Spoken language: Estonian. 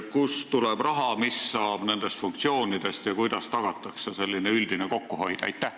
Kust tuleb raha, mis saab nendest funktsioonidest ja kuidas tagatakse üldine kokkuhoid?